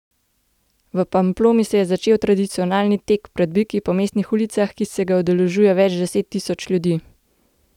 V Pamploni se je začel tradicionalni tek pred biki po mestnih ulicah, ki se ga udeležuje več deset tisoč ljudi.